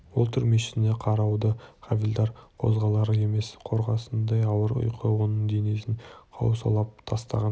ол түрмешісіне қарады хавильдар қозғалар емес қорғасындай ауыр ұйқы оның денесін құрсаулап тастаған